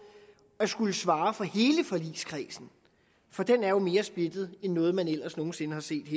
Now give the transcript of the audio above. at skulle svare for hele forligskredsen for den er jo mere splittet end noget man ellers nogen sinde har set